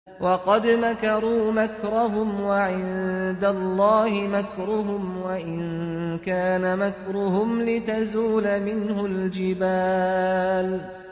وَقَدْ مَكَرُوا مَكْرَهُمْ وَعِندَ اللَّهِ مَكْرُهُمْ وَإِن كَانَ مَكْرُهُمْ لِتَزُولَ مِنْهُ الْجِبَالُ